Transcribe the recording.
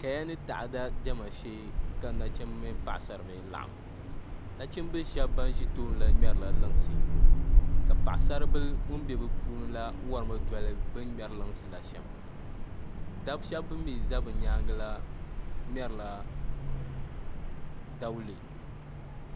Kaya ni taada diɛma shee ka nachimbi ni paɣasara laɣam nachimbihi shab ban bɛ toonila ŋmɛrila lunsi ka paɣasari bili ŋun bɛ bi puuni la worimi doli bi ni ŋmɛri lunsi la shɛm dabi shab bin mii ʒɛ bi nyaangi la ŋmɛrila dawulɛ